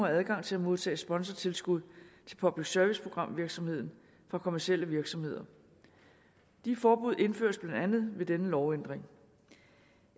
adgang til at modtage sponsortilskud til public service programvirksomheden fra kommercielle virksomheder de forbud indføres blandt andet ved denne lovændring